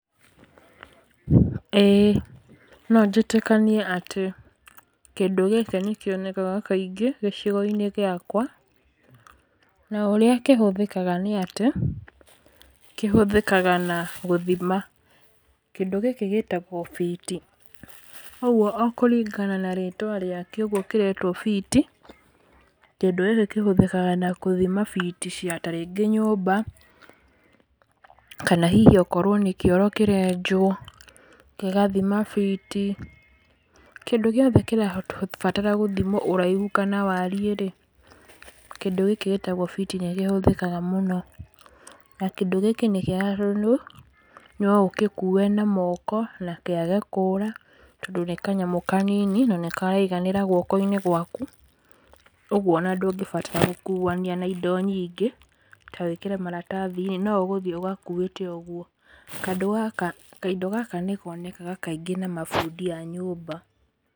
ĩĩ, nonjĩtĩkanie atĩ, kĩndũ gĩkĩ nĩkĩonekaga kaingĩ gĩcigo-inĩ gĩakwa, na ũrĩa kĩhũthĩkaga nĩ atĩ, kĩhũthĩkaga na gũthima, kĩndũ gĩkĩ gĩtagwo biti, ũguo o kũringana na rĩtwa rĩakĩo ũguo kĩretwo biti, kĩndũ gĩkĩ kĩhũthĩkaga na gũthima biti cia ta rĩngĩ nyũmba, kana hihi okorwo nĩ kĩoro kĩrenjwo, gĩgathima biti, kĩndũ gĩothe kĩrabatara gũthimwo ũraihu kana wariĩ rĩ, kĩndũ gĩkĩ gĩtagwo biti nĩkĩhũthĩkaga mũno, na kindũ gĩkĩ nĩ kĩega tondũ, noũgĩkue na moko, na kĩage kũra, tondũ nĩ kanyamũ kanini, na nĩkaraiganĩra guoko-inĩ gwaku, ũguo on ndũngĩbatara gũkuania na indo nyingĩ, ta wĩkĩre maratathi-inĩ, no ũgũthiĩ ũgakuĩte ũguo, kando gaka, kaindo gaka nĩkonekaga kaingĩ na mabundi a nyũmba.